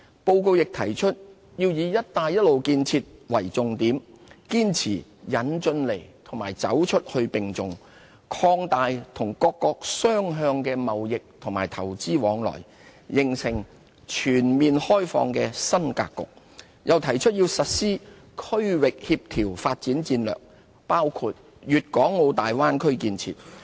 報告亦提出要以"一帶一路"建設為重點，堅持"引進來"和"走出去"並重，擴大與各國雙向投資和貿易往來，形成全面開放的新格局，又提出要實施區域協調發展戰略，包括粵港澳大灣區建設。